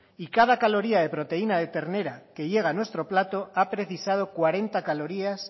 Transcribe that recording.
y cada caloría de proteína de ternera que llega a nuestro plato ha precisado cuarenta calorías